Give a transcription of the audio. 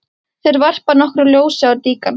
Þeir varpa nokkru ljósi á líkan